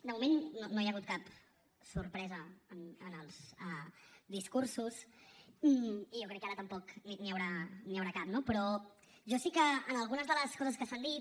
de moment no hi ha hagut cap sorpresa en els discursos i jo crec que ara tampoc n’hi haurà cap no però jo sí que en algunes de les coses que s’han dit